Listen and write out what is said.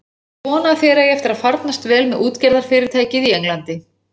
Ég vona að þér eigi eftir að farnast vel með útgerðarfyrirtækið í Englandi.